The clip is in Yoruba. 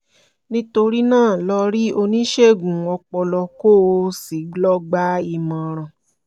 nítorí náà lọ rí oníṣègùn ọpọlọ kó o sì lọ gba ìmọ̀ràn